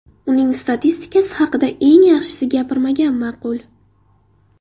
Uning statistikasi haqida esa yaxshisi gapirmagan ma’qul.